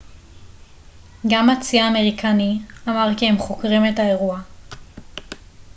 גם הצי האמריקני אמר כי הם חוקרים את האירוע